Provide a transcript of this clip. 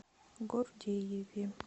гордееве